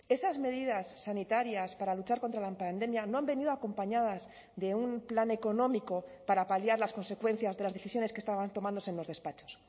esas medidas sanitarias para luchar contra la pandemia no han venido acompañadas de un plan económico para paliar las consecuencias de las decisiones que estaban tomándose en los despachos